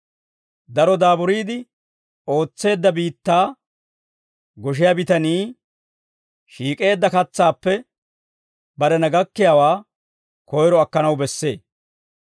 Daro daaburiide ootseedda biittaa goshiyaa bitanii shiik'eedda katsaappe barena gakkiyaawaa koyro akkanaw bessee.